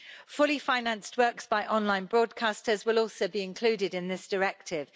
Fully financed works by online broadcasters will also be included in this Directive.